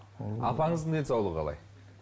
апаңыздың денсаулығы қалай